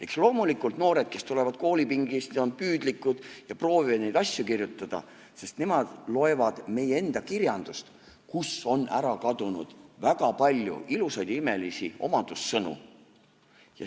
Eks loomulikult, noored, kes tulevad koolipingist, on püüdlikud ja proovivad neid asju kirjutada, sest nemad loevad meie enda kirjandust, kust on ära kadunud väga palju ilusaid ja imelisi omadussõnu.